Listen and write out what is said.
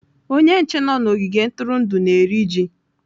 Onye nche nọ n'ogige ntụrụndụ na-eri ji.